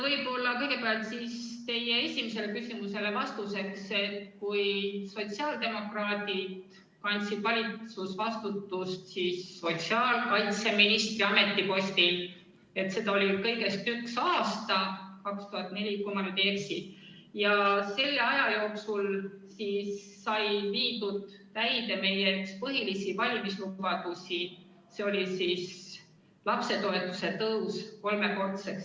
Võib-olla kõigepealt ütlen teie esimesele küsimusele vastuseks, et kui sotsiaaldemokraadid kandsid valitsusvastutust sotsiaalkaitseministri ametipostil, siis seda oli ju kõigest üks aasta – 2004, kui ma ei eksi – ja selle aja jooksul sai täide viidud meie üks põhilisi valimislubadusi, see oli lapsetoetuse tõus kolmekordseks.